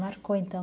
Marcou, então.